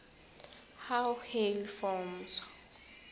how hail forms